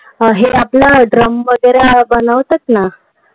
हे आपलं drum वगैरे बनवतात ना,